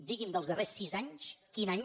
digui’m dels darrers sis anys quin any